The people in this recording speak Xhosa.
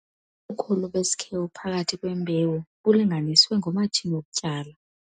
Ubukhulu besikhewu phakathi kwembewu bulinganiswe ngomatshini wokutyala.